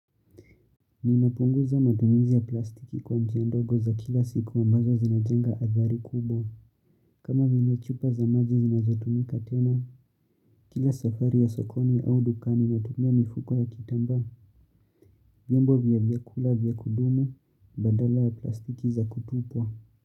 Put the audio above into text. Ninapunguza matumizi ya plastiki kwa njia ndogo za kila siku ambazo zinajenga adhari kubwa. Kama vile chupa za maji zinazotumika tena, kila safari ya sokoni au dukani natumia mifuko ya kitamba, vyombo vya vyakula vya kudumu, badala ya plastiki za kutupwa.